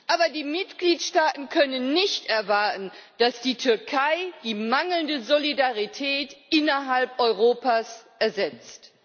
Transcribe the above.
Aber die Mitgliedstaaten können nicht erwarten, dass die Türkei die mangelnde Solidarität innerhalb Europas ersetzt.